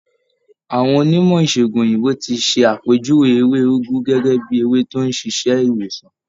Àwọn onímọ̀ ìṣègùn òyìnbó ti ṣe àpèjúwe ewé úgú gẹ́gẹ́ bíi ewé tó ń ṣiṣẹ́ ìwòsàn.